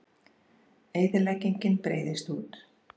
Eyðileggingin breiðist út